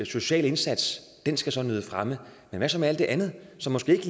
social indsats der skal nyde fremme men hvad så med alt det andet som måske ikke